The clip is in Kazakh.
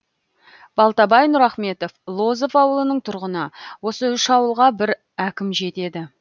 балтабай нұрахметов лозов ауылының тұрғыны осы үш ауылға бір әкім жетеді